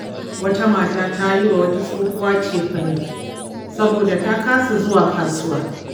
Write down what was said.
Wata mata ta yi wa wata tsohuwa cefane saboda ta kasa zuwa kasuwa.